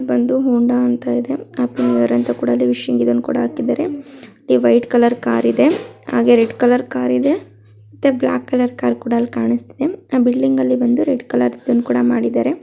ಬಂದು ಹೋಂಡಾ ಅಂತ ಇದೆ. ಹ್ಯಾಪಿ ನ್ಯೂ ಇಯರ್ ಅಂತ ವಿಶಿಂಗ್ ಇದನ್ನು ಕೂಡ ಹಾಕಿದ್ದಾರೆ. ಲಿ ವೈಟ್ ಕಲರ್ ಕಾರ್ ಇದೆ. ಹಾಗೆ ರೆಡ್ ಕಲರ್ ಕಾರ್ ಇದೆ. ಮತ್ತೆ ಬ್ಲ್ಯಾಕ್ ಕಲರ್ ಕಾರ್ ಕೂಡ ಅಲ್ ಕಾಣಿಸ್ತಿದೆ. ಆ ಬಿಲ್ಡಿಂಗಲ್ಲಿ ಬಂದು ರೆಡ್ ಕಲರ್ ತಿ ಒಂದ್ ಕೂಡ ಮಾಡಿದ್ದಾರೆ.